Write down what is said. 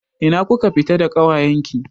Ina kuka fita da ƙawayen ki?